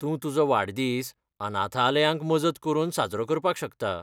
तूं तुजो वाडदीस अनाथालयांक मजत करून साजरो करपाक शकता.